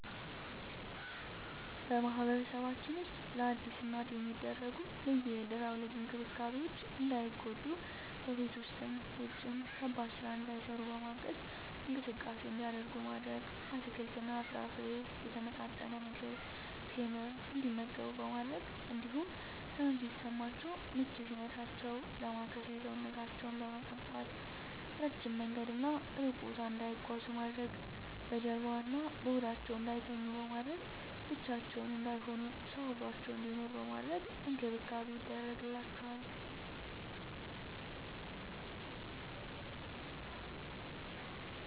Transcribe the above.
በማህበረሰባችን ውስጥ ለአዲስ እናት የሚደረጉ ልዩ የድህረ ወሊድ እንክብካቤዎች እንዳይጎዱ በቤት ውስጥም ውጭም ከባድ ስራ እንዳይሰሩ በማገዝ፣ እንቅስቃሴ እንዲያደርጉ ማድረግ፣ አትክልትና ፍራፍሬ፣ የተመጣጠነ ምግብ፣ ቴምር እንዲመገቡ በማድረግ እንዲሁም ህመም ሲሰማቸው ምች ሲመታቸው ዳማከሴ ሰውነታቸውን በመቀባት፣ እረጅም መንገድና እሩቅ ቦታ እንዳይጓዙ ማድረግ፣ በጀርባዋ እና በሆዳቸው እንዳይተኙ በማድረግ፣ ብቻቸውን እንዳይሆኑ ሰው አብሮአቸው እንዲኖር በማድረግ እንክብካቤ ይደረግላቸዋል።